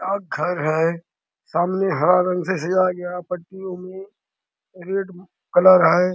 डाक घर है सामने हरा रंग से सजाया गया पट्टियों में रेड कलर है।